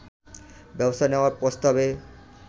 ব্যবস্থা নেয়ার প্রস্তাবে